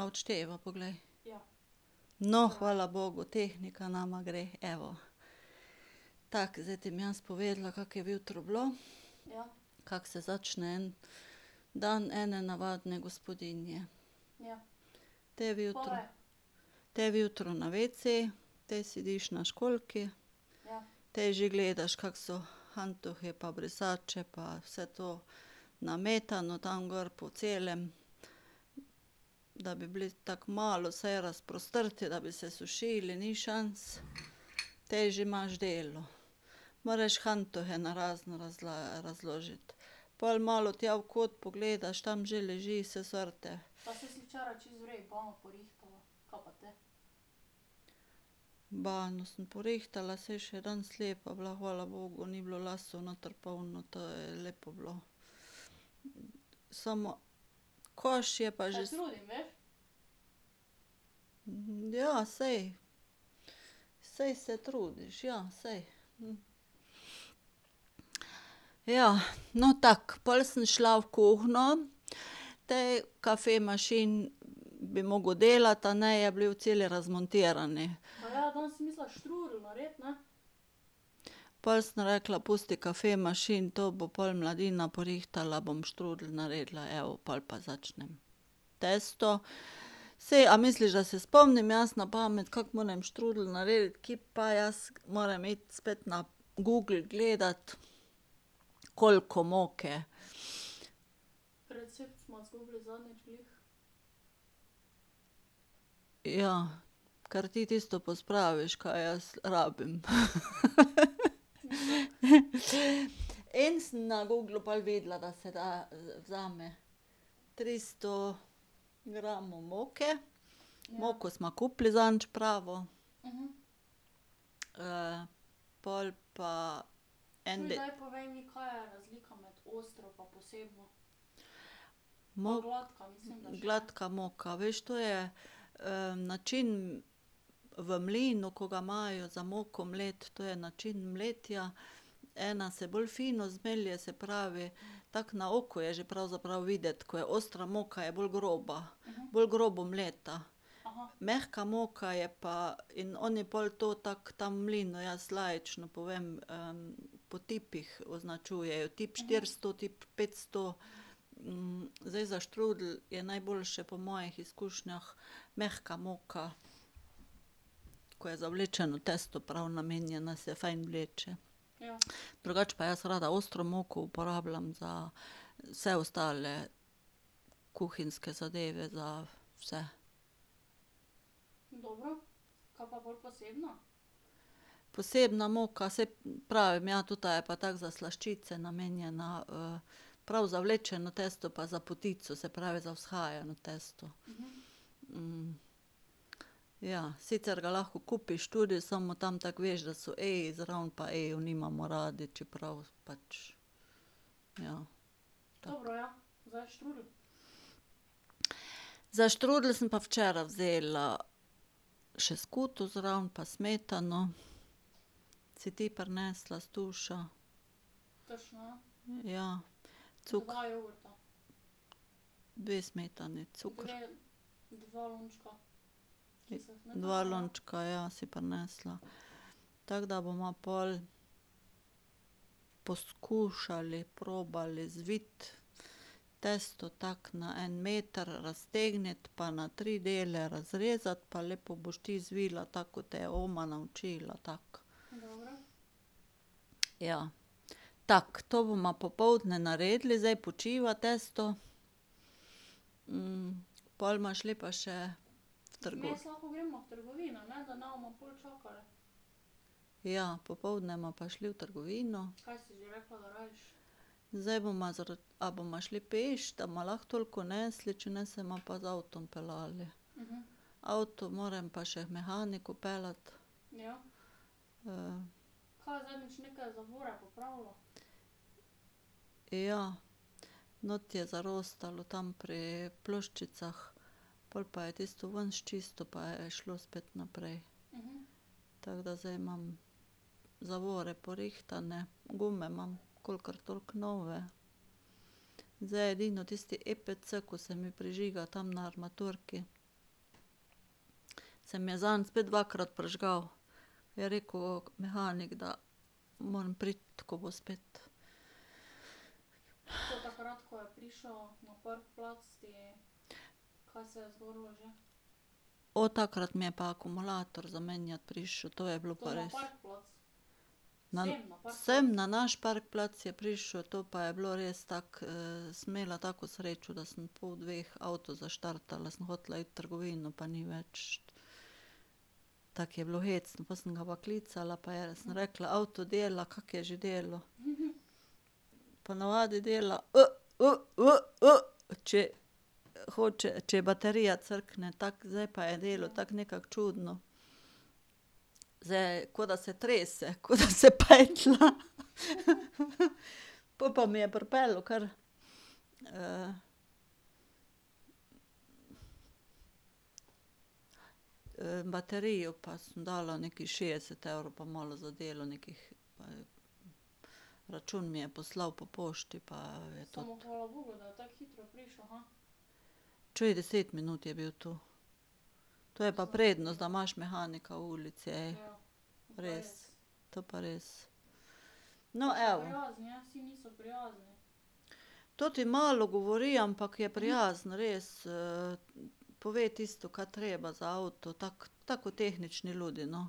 A odšteva? Poglej. No, hvala bogu, tehnika nama gre, evo. Tako, zdaj ti bom jaz povedala, kako je zjutraj bilo. Kako se začne en dan ene navadne gospodinje. Te vjutro ... Te vjutro na vece, te sediš na školjki. Te že gledaš, kako so hantuhi pa brisače pa vse to nametano tam gor po celem, da bi bili tako malo vsaj razprostrti, da bi se sušili, ni šans. Te že imaš delo. Moraš hantuhe narazen razložiti. Pol malo tja v kot pogledaš, tam že leži vse sorte. Banjo sem porihtala, saj je še danes lepa bila, hvala bogu, ni bilo las noter polno, to je lepo bilo. Samo koš je pa že ... Ja, saj. Saj se trudiš, ja, saj. Ja, no, tako, pol sem šla v kuhinjo, ti kafemašin bi moral delati, a ne, je bil cel razmontiran. Pol sem rekla, pusti kafemašin, to bo pol mladina porihtala, bom štrudelj naredila, evo, pol pa začnem testo. Saj, a misliš, da se spomnim jaz na pamet, kako morem štrudelj narediti, ki pa, jaz moram iti spet na Google gledati, koliko moke ... Ja, ker ti tisto pospraviš, ka jaz rabim. In sem na Googlu pol videla, da se da, vzame tristo gramov moke, moko sva kupili zadnjič pravo. pol pa en ... Gladka moka, veš, to je način v mlinu, ko ga imajo za moko mleti, to je način mletja. Ena se bolj fino zmelje, se pravi, tako na oko je že pravzaprav videti, ko je ostra moka, je bolj groba. Bolj grobo mleta. Mehka moka je pa ... in oni pol to tako ta mlin, jaz laično povem, po tipih označujejo - tip štiristo, tip petsto. zdaj, za štrudelj je najboljše, po mojih izkušnjah, mehka moka, ko je za vlečeno testo prav namenjena, se fajn vleče. Drugače pa jaz rada ostro moko uporabljam za vse ostale kuhinjske zadeve, za vse. Posebna moka, saj pravim, ja, tota je pa tako za slaščice namenjena, prav za vlečeno testo pa za potico, se pravi za vzhajano tisto. ja, sicer ga lahko kupiš tudi, samo tam tako veš, da so E-ji zraven pa E-jev nimamo radi, čeprav pač ... Ja, tako. Za štrudelj sem pa včeraj vzela še skuto zraven pa smetano, si ti prinesla s Tuša. Ja. ... Dve smetani, cuker ... Dva lončka, ja, si prinesla. Tako da bova pol poskušali, probali zviti testo tako na en meter raztegniti, pa na tri dele razrezati, pa lepo boš ti zvila, tako ko te je oma naučila, tako. Ja. Tako, to bova popoldne naredili, zdaj počiva testo. pol bova šli pa še v ... Ja, popoldne bova pa šli v trgovino. Zdaj bova ... A bova šli peš, da bova lahko toliko nesli, če ne se bova pa z avtom peljali. Avto moram pa še k mehaniku peljati. Ja. Not je zarostalo, tam pri ploščicah. Pol pa je tisto ven sčistil pa je šlo spet naprej. Tako da zdaj imam zavore porihtane, gume imam kolikor toliko nove. Zdaj, edino tisti epc, ko se mi prižiga tam na armaturki. Se mi je zadnjič spet dvakrat prižgal. Je rekel mehanik, da moram priti, ko bo spet. O, takrat mi je pa akumulator zamenjat prišel. To je bilo pa res ... Sem na naš parkplac je prišel, to pa je bilo res, tako sem imela tako srečo, da sem ob pol dveh avto zaštartala, sem hotela iti v trgovino pa ni več ... Tako je bilo hecno, pol sem ga pa klicala, pa je sem rekla: "Avto dela, kako je že delal?" Ponavadi dela če hoče, če baterija crkne, tako, zdaj pa je delal tako nekako čudno. Zdaj, ko da se trese, ko da se petlja. Pol pa mi je pripeljal kar, baterijo pa sem dala nekih šestdeset evrov pa malo za delo, nekih ... Račun mi je poslal po pošti, pa je toti ... Čuj, deset minut je bil tu. To je pa prednost, da imaš mehanika v ulici, ej. Res. To pa res. No, evo ... Ta malo govori, ampak je prijazen, res, pove tisto, ka treba za avto, tako tako kot tehnični ljudje, no.